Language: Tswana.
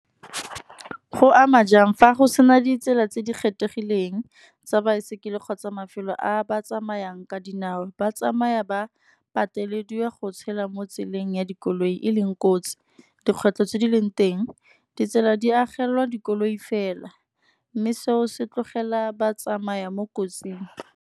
Go ama jang fa go sena ditsela tse di kgethegileng tsa baesekele, kgotsa mafelo a ba tsamayang ka dinao. Ba tsamaya ba patelediwa go tshela mo tseleng ya dikoloi e leng kotsi. Dikgwetlho tse di leng teng ditsela di agelelwa dikoloi fela, mme seo se tlogela ba tsamaya mo kotsing.